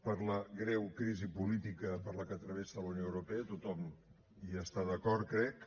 per la greu crisi política per la que travessa la unió europea tothom hi està d’acord crec